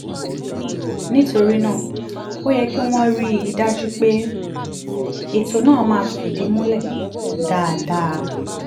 nítorí náà ó yẹ kí wọ́n rí i dájú pé ètò náà máa fìdí múlẹ̀ dáadáa